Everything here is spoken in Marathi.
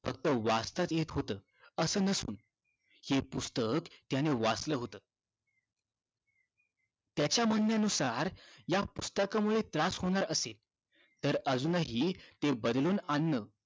त्याच वाचता येत होत असं नसून ते पुस्तक त्यानं वाचलं होत त्याच्या म्हणण्यानुसार या पुस्तकामुळे त्रास होणार असेल तर अजूनही ते बदलून आणण